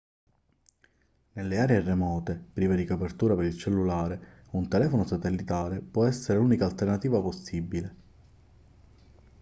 nelle aree remote prive di copertura per il cellulare un telefono satellitare può essere l'unica alternativa possibile